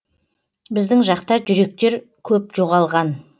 біздің жақта жүректер көп жоғалған